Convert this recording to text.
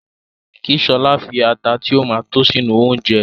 Kí Ṣọlá fi ata tí ó ma tó sínú oúnjẹ